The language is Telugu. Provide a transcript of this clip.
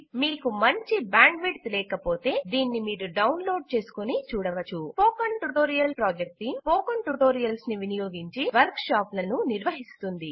మీకు మంచి బ్యాండ్విడ్త్ లేకపోతే దీనిని మీరు డౌన్లోడ్ చేసుకుని చూడవచ్చు స్పోకెన్ ట్యుటోరియల్ ప్రాజెక్ట్ టీమ్స్పోకెన్ ట్యుటోరియల్స్ను వినియోగించి వర్క్షాపులను నిర్వహిస్తుంది